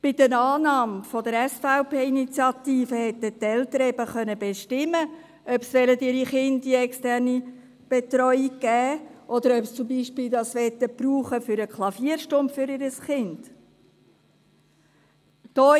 Bei einer Annahme der SVP-Initiative hätten die Eltern bestimmen können, ob sie ihre Kinder in eine externe Betreuung geben wollen, oder ob sie die Unterstützung beispielsweise für eine Klavierstunde ihres Kindes verwenden wollen.